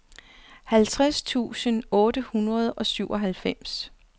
halvtreds tusind otte hundrede og syvoghalvfems